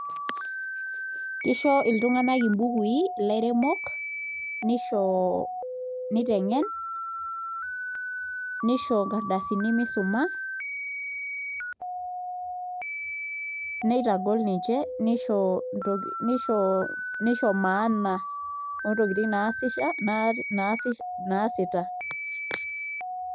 Kisho iltunganak mbukui, ilairemok nisho niteng'en nisho nkardasini misuma nitagol ninche nisho maana oontokitin naasita.